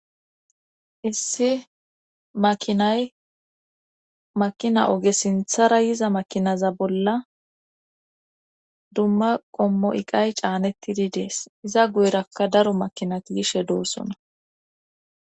issi makinay makina oge sinthara yiza makinaza bolla dumma qommo iqay caanettidi dees iza guyrakka daro makinati gishe doossona